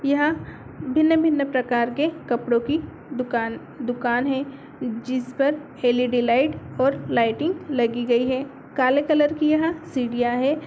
यहाँ भिन्न-भिन्न प्रकार के कपड़ों की दुकान दुकान है जिसपर अल_ई_डी लाइट और लाइटिंग लगी गई है। काले कलर की यहाँ सीढ़ियाँ है।